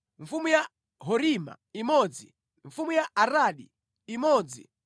mfumu ya Horima imodzi mfumu ya Aradi imodzi